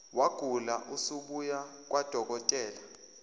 wagula usubuya nakwadokotela